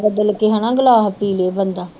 ਬਦਲ ਕੇ ਹਨਾ ਗਲਾਸ ਪੀ ਲਏ ਬੰਦਾ